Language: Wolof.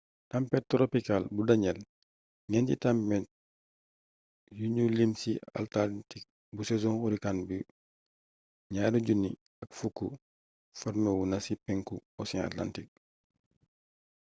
tampet toropikaal bu danielle ñeenti tampet yuñu lim ci atlantik bu sezon hurricane bu 2010 forméwu na ci penku ocean atlantik